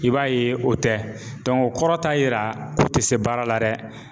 I b'a ye o tɛ o kɔrɔ t'a yira k'u tɛ se baara la dɛ